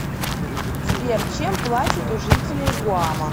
сбер чем платят у жителей гуама